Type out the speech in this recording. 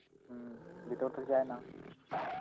হম এটাও তো যায় না.